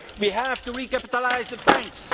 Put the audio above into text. we have to recapitalise the banks